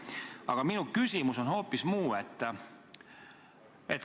Aga minu küsimus on hoopis muu.